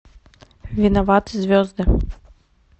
виноваты звезды